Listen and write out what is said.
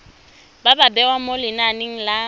ba bewa mo lenaneng la